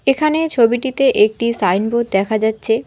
এখানে ছবিটিতে একটি সাইনবোর্ড দেখা যাচ্ছে।